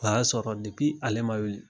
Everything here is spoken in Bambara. O y'a sɔrɔ ale ma wili